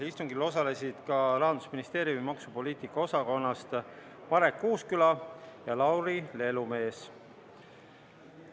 Istungil osalesid ka Marek Uusküla ja Lauri Lelumees Rahandusministeeriumi maksupoliitika osakonnast.